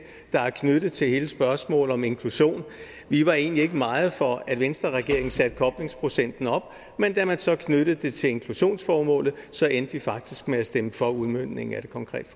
der er knyttet til hele spørgsmålet om inklusion vi var egentlig ikke meget for at venstreregeringen satte koblingsprocenten op men da man så knyttede det til inklusionsformålet endte vi faktisk med at stemme for udmøntningen af det konkrete